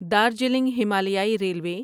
دارجیلنگ ہمالیائی ریلوے